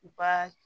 U ka